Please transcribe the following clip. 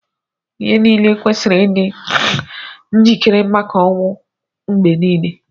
Ihe niile kwesiri ịdị njikere maka ọnwụ mgbe niile.